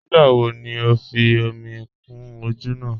Nígbà wò ní o fí omi kún ojò náà?